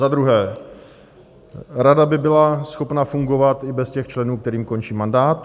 Za druhé, rada by byla schopna fungovat i bez těch členů, kterým končí mandát.